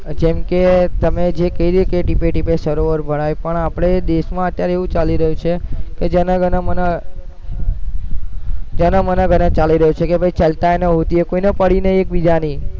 જેમકે તમે જે કીધું કે ટીપે ટીપે સરોવર ભરાઈ પણ આપણે દેશમાં અત્યારે એવું ચાલી રહ્યું છે કે જન ગન મન જન મન ગન ચાલી રહ્યું છે કે ભૈ ચલતા હૈ ને કોઈને પડી નહીં બીજાની